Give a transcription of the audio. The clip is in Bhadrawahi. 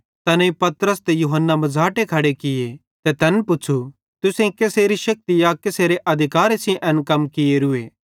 तैनेईं पतरस ते यूहन्ना मझ़ाटे खड़े किये ते तैन पुच़्छ़ू तुसेईं केसेरे शेक्ति या केसेरे अधिकारे सेइं एन कम कियोरूए